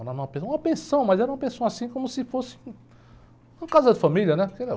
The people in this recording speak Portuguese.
Era uma pensão, mas era uma pensão assim como se fosse uma casa de família, né?